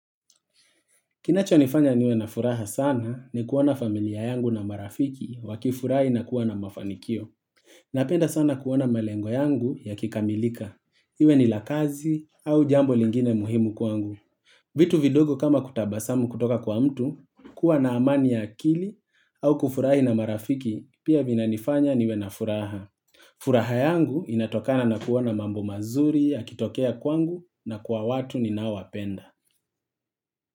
Kinacho nifanya niwe na furaha sana ni kuwana familia yangu na marafiki wakifurai na kuwana mafanikio. Napenda sana kuwana malengwa yangu ya kikamilika. Iwe ni lakazi au jambo lingine muhimu kwangu. Vitu vidogo kama kutabasamu kutoka kwa mtu, kuwa na amani ya akili au kufurahi na marafiki pia vinanifanya niwe na furaha. Furaha yangu inatokana na kuona mambo mazuri, yakitokea kwangu na kwa watu ni naowapenda.